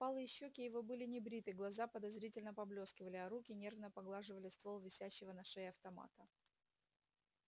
впалые щёки его были небриты глаза подозрительно поблескивали а руки нервно поглаживали ствол висящего на шее автомата